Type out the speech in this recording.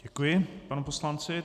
Děkuji panu poslanci.